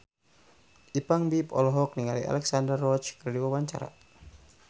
Ipank BIP olohok ningali Alexandra Roach keur diwawancara